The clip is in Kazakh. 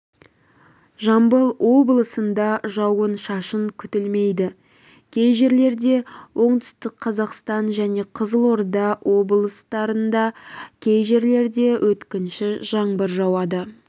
жамбыл облысында жауын-шашын күтілмейді кей жерлерде оңтүстік қазақстан және қызылорда облыстарында кей жерлерде өткінші жаңбыр жауады